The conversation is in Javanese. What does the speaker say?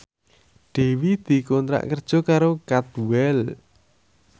Dewi dikontrak kerja karo Cadwell